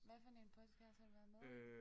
Hvad for en podcast har du været med i